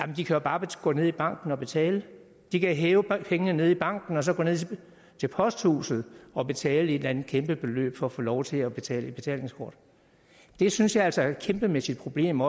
de kan jo bare gå ned i banken og betale de kan hæve pengene nede i banken og så gå ned til posthuset og betale et eller andet kæmpebeløb for at få lov til at betale et betalingskort det synes jeg altså også er et kæmpemæssigt problem